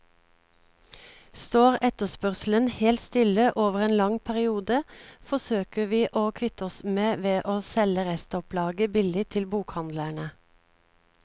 Står etterspørselen helt stille over en lang periode, forsøker vi å kvitte oss med ved å selge restopplaget billig til bokhandlene.